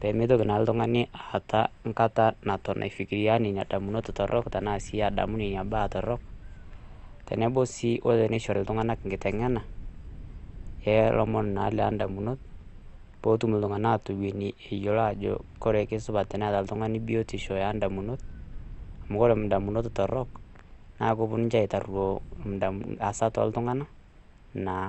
pemeitoki naa ltungani nkata naton aifikiria nenia damunot torrok tenaa sii adamu nenia baa torrok, tenebo sii oo teneishori ltunganak nkitengena elomon naa lee ndamunot peetum ltungana aatoweni eyioli aajo jore kesupat enetaltungani biotisho eendamunot, amu kore indamunot torrok naa keponu ninche aitarioo asat oo ltungana naa.